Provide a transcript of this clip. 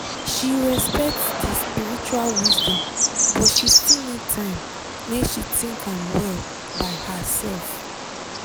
she respect di spiritual wisdom but she still need time make she think am well by herself.